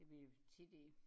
Vi tit i